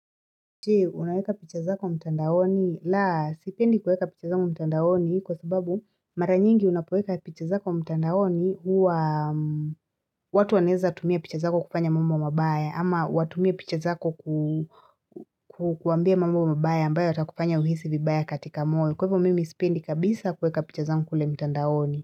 Je, unaweka picha zako mtandaoni. La, sipendi kueka picha zangu mtandaoni kwa sababu mara nyingi unapoweka picha zako mtandaoni huwa watu wanaeza tumia picha zako kufanya mambo mabaya ama watumie picha zako ku kuambia mambo mabaya ambayo yatakufanya uhisi vibaya katika moyo. Kwa hivyo mimi sipendi kabisa kueka picha zangu kule mitandaoni.